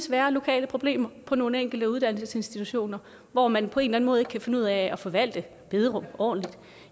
være lokale problemer på nogle enkelte uddannelsesinstitutioner hvor man på en eller anden måde ikke kan finde ud af at forvalte bederum ordentligt